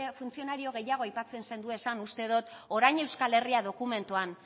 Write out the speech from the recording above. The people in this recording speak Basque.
funtzionario gehiago aipatzen zenduezan uste dot orain euskal herria dokumentuan